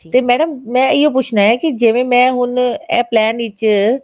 ਤੇ madam ਮੈਂ ਰਹੋ ਹੀ ਪੁੱਛਣਾ ਹੀ ਕੀ ਜਿਵੇਂ ਮੈਂ ਹੁਣ plan ਵਿੱਚ